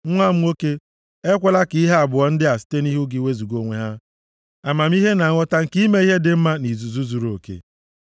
Nwa m nwoke, ekwela ka ihe abụọ ndị a site nʼihu gị wezuga onwe ha: amamihe na nghọta nke ime ihe dị mma nʼizuzu zuruoke,